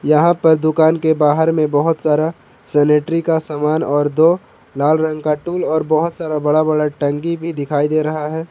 यहां पर दुकान के बाहर में बहुत सारा सेनेटरी का सामान और दो लाल रंग का टूल और बहुत सारा बड़ा बड़ा टंकी भी दिखाई दे रहा है।